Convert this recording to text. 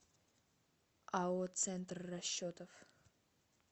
ао центр расчетов